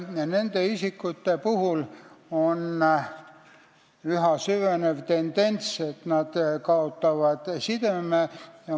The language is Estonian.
Nende isikute puhul süveneb üha enam tendents, et nad kaotavad sideme.